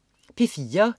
P4: